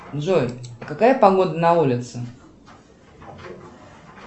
джой какая погода на улице